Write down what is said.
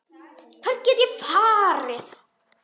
Hvert gat ég farið?